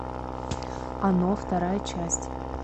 оно вторая часть